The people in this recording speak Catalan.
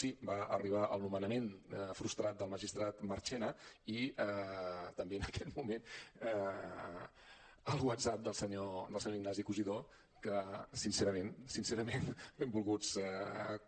sí va arribar el nomenament frustrat del magistrat marchena i també en aquell moment el whatsapp del senyor ignacio cosidó que sincerament sincerament benvolguts